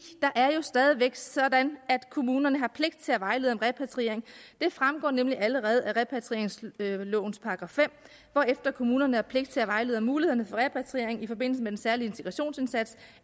der er jo stadig væk sådan at kommunerne har pligt til at vejlede om repatriering det fremgår nemlig allerede af repatrieringslovens § fem hvorefter kommunerne har pligt til at vejlede om mulighederne for repatriering i forbindelse med den særlig integrationsindsats